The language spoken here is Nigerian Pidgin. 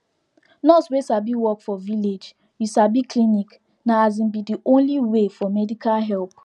nurse wey sabi work for village you sabi clinic na asin be de only way for medical help